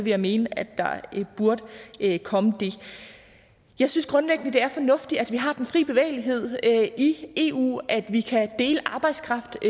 jeg mene at der burde komme det jeg synes grundlæggende at det er fornuftigt at vi har den fri bevægelighed i eu sådan at vi kan dele arbejdskraft